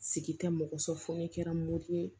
Sigi tɛ mɔgɔ sɔrɔ fɔ ne kɛra mori ye